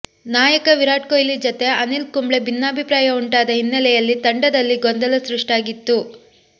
ನಾಯಕ ವಿರಾಟ್ ಕೊಹ್ಲಿ ಜೊತೆ ಅನಿಲ್ ಕುಂಬ್ಳೆ ಭಿನ್ನಾಭಿಪ್ರಾಯ ಉಂಟಾದ ಹಿನ್ನೆಲೆಯಲ್ಲಿ ತಂಡದಲ್ಲಿ ಗೊಂದಲ ಸೃಷ್ಟಿಯಾಗಿತ್ತು